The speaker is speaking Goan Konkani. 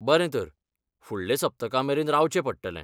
बरें तर, फुडले सप्तकामेरेन रावचें पडटलें.